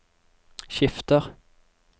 skifter